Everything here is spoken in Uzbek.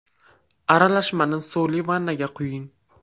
Aralashmani suvli vannaga quying.